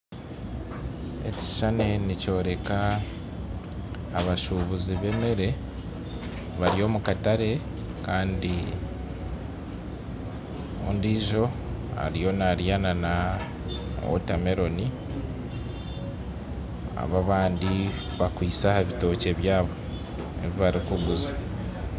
Ekishushani nikyoreka abashubuzi bemere bari omu katare kandi ondiijo ariyo narya na water meroni aba abandi bakwitse aha bitookye byabo ebi barikuguza